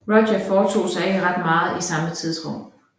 Roger foretog sig ikke ret meget i samme tidsrum